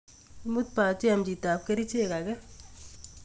Imut batiem chitab kerichek age.